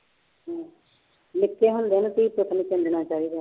ਨਿੱਕੇ ਹੁੰਦੇ ਨੂੰ ਧੀ ਪੁੱਤ ਨੀ ਚਾਹੀਦਾ।